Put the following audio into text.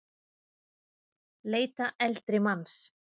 Leita eldri manns